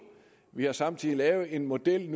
vi har samtidig lavet en model